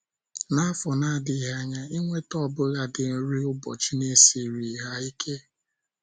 N’afọ na - adịghị anya, inweta ọbụladi nri ụbọchị na -esiri ha ike.